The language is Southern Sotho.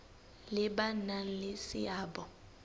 le ba nang le seabo